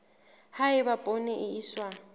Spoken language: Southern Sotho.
ha eba poone e iswa